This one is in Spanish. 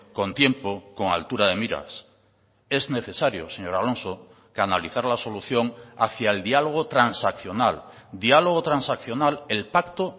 con tiempo con altura de miras es necesario señor alonso canalizar la solución hacia el diálogo transaccional diálogo transaccional el pacto